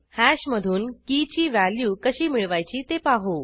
हॅशमधून key ची value कशी मिळवायची ते पाहू